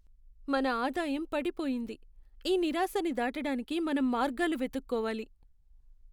మన ఆదాయం పడిపోయింది! ఈ నిరాశని దాటడానికి మనం మార్గాలు వెతుక్కోవాలి.